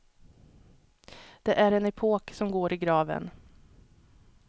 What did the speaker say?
Det är en epok som går i graven.